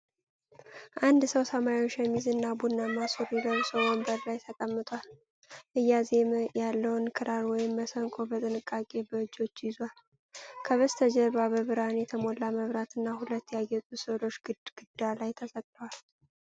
አንድ ሰው ሰማያዊ ሸሚዝ እና ቡናማ ሱሪ ለብሶ ወንበር ላይ ተቀምጧል። እያዜመ ያለውን ክራር ወይም መሰንቆ በጥንቃቄ በእጆቹ ይዟል። ከበስተጀርባ በብርሃን የተሞላ መብራት እና ሁለት ያጌጡ ስዕሎች ግድግዳ ላይ ተሰቅለዋል።